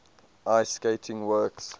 ice skating works